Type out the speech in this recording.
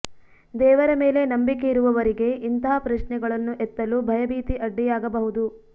ದೇವರ ಮೇಲೆ ನಂಬಿಕೆ ಇರುವವರಿಗೆ ಇಂತಹ ಪ್ರಶ್ನೆಗಳನ್ನು ಎತ್ತಲು ಭಯ ಭೀತಿ ಅಡ್ಡಿಯಾಗಬಹುದು